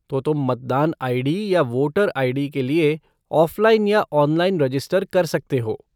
तो तुम मतदान आई.डी. या वोटर आई.डी. के लिए ऑफ़लाइन या ऑनलाइन रजिस्टर कर सकते हो।